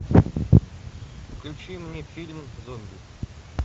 включи мне фильм зомби